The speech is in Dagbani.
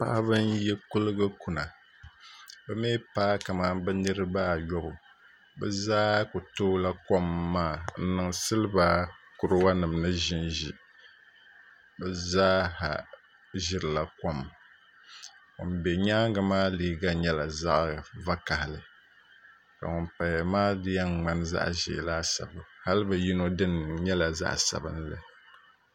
Paɣaba n yi kuligi kuna bi mii paai kamani niraba ayobu bi mii ku toola kom maa n niŋ siliba kuraga nim ni ʒinʒi bi zaaha ʒirila kom ŋun bɛ nyaangi maa liiga nyɛla vakaɣali ka ŋun paya maa di yɛn ŋmani zaɣ ʒiɛ kaasabu hali bi yino dini nyɛla zaɣ sabinli